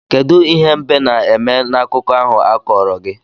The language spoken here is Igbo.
Kedu ihe mbe na-eme n'akụkọ ahụ a kọrọ gi?